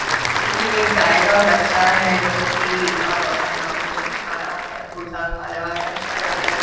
ये एक गाय का बच्चा है। जो की अ अपना भोजन खा रहा है। भूसा खा रहा है। हरा-हरा --